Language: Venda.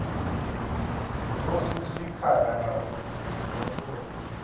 musi zwi khagala uri mihumbulo